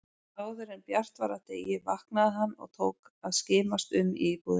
Áðuren bjart var af degi vaknaði hann og tók að skimast um í íbúðinni.